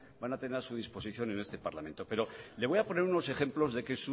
van a tener a su disposición en este parlamento pero le voy a poner unos ejemplos de que